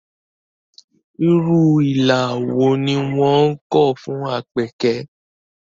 Irú ilà wo ni wọ́n kọ fún Àpèkẹ́?